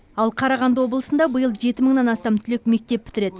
ал қарағанды облысында биыл жеті мыңнан астам түлек мектеп бітіреді